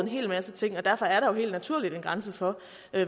hel masse ting derfor er der jo helt naturligt en grænse for